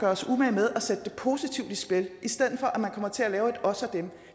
os umage med at sætte det positivt i spil i stedet for at man kommer til at lave et os og dem